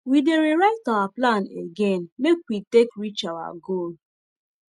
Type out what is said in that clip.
we dey re write our plan again make we take reach our goal